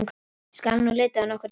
Skal nú litið á nokkur dæmi.